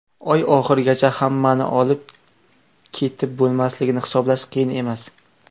Oy oxirigacha hammani olib ketib bo‘lmasligini hisoblash qiyin emas.